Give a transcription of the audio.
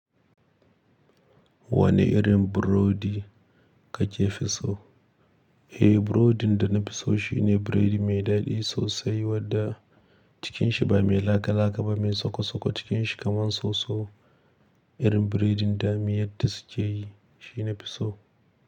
Wane irin burodi kake fi so? Eh, burodin da na fi so shi ne biredi mai daɗi sosai wanda cikinshi ba mai laka-laka ba, mai soko-soko cikinshi kamar soso. Irin biredin da mayadi suke yi, shi na fi so.